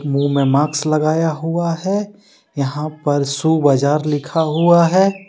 मुंह में मास्क लगाया हुआ है यहां पर शू बाजार लिखा हुआ है।